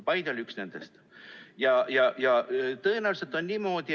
Paide oli üks nendest.